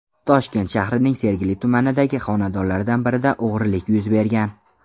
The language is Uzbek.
Toshkent shahrining Sergeli tumanidagi xonadonlardan birida o‘g‘rilik yuz bergan.